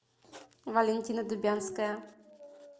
валентина дубянская